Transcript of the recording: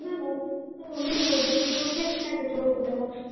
ಹಾ ಬಿಡ್ಬೋದು. ಇದು friends ನ ಜೊತೆ ಹೋಗುದಲ್ಲ.